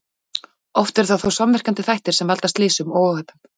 Oft eru það þó samverkandi þættir sem valda slysum og óhöppum.